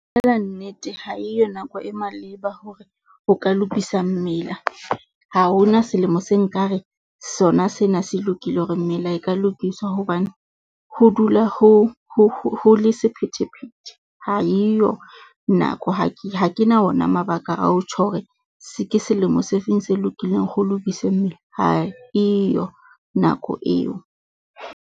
Nnete ha eyo nako e maleba hore o ka lokisa mmila. Ha ho na selemo se nkare sona sena se lokile hore mmila e ka lokiswa hobane, ho dula ho ho ho le sephethephethe, ha eyo nako ha ke ha ke na ona mabaka ao tjho hore se ke selemo se feng se lokileng, ho lokiswe mmila, ha eyo nako eo.